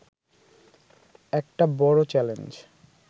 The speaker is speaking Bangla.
একটা বড় চ্যালেঞ্জ